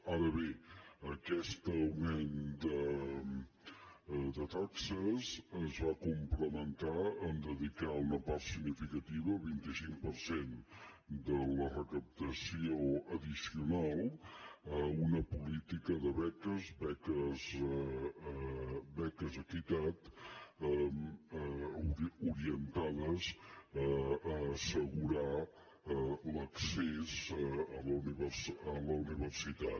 ara bé aquest augment de taxes es va complementar amb dedicar una part significativa vint cinc per cent de la recaptació addicional a una política de beques beques equitat orientades a assegurar l’accés a la universitat